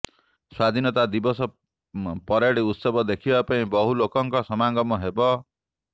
ସ୍ବାଧୀନତା ଦିବସ ପରେଡ୍ ଉତ୍ସବ ଦେଖିବା ପାଇଁ ବହୁଲୋକଙ୍କ ସମାଗମ ହେବ